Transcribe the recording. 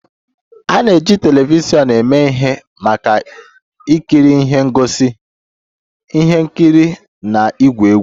A na-eji telivishọn eme ihe maka ikiri ihe ngosi, ihe nkiri na igwu egwuregwu